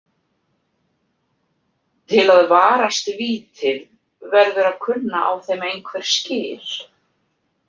Til að varast vítin verður að kunna á þeim einhver skil.